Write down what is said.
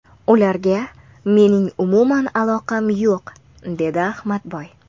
Ularga mening umuman aloqam yo‘q”, dedi Ahmadboy.